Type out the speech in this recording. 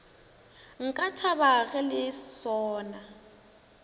nka thaba ge le sona